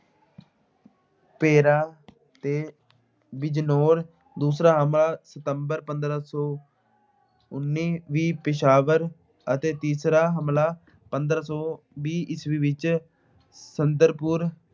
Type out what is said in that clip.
ਪੇਰਾ ਤੇ ਬਿਜਨੋਰ। ਦੂਜਾ ਹਮਲਾ ਸਤੰਬਰ ਪੰਦਰਾਂ ਸੌ ਉਨੀ ਪਿਸ਼ਾਵਰ ਅਤੇ ਤੀਸਰਾ ਹਮਲਾ ਪੰਦਰਾਂ ਸੌ ਵੀਹ ਈਸਵੀ ਵਿੱਚ ਸੰਦਰਪੁਰ